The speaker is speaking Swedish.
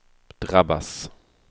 drabbas